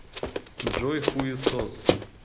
джой хуесос